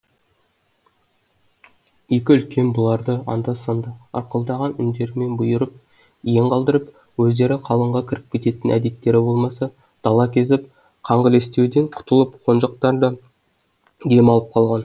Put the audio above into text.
екі үлкен бұларды анда санда ырқылдаған үндерімен бұйырып иен қалдырып өздері қалыңға кіріп кететін әдеттері болмаса дала кезіп қаңғілестеуден құтылып қонжықтар да дем алып қалған